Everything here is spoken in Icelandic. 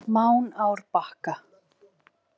Mánárbakka